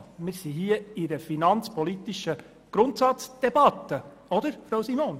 Wir befinden uns hier in einer finanzpolitischen Grundsatzdebatte, nicht wahr, Frau Simon?